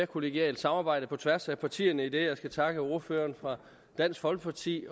kollegialt samarbejde på tværs af partierne idet jeg skal takke ordførerne fra dansk folkeparti